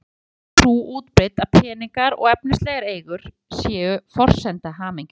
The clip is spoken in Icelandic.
Engu að síður er sú trú útbreidd að peningar og efnislegar eigur séu forsenda hamingju.